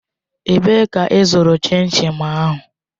Ebee ka ịzụrụ chin chin ahụ?